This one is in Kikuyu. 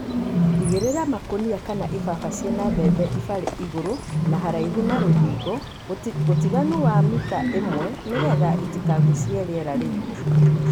Igĩrĩra makũnia kana ibaba ciĩna mbembe ibarĩ igũrũ na haraihu na rũthingo (utiganu ta wa mita ĩmwe) nĩgetha itikagucie rĩera rĩigũ.